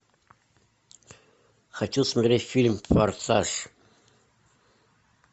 хочу смотреть фильм форсаж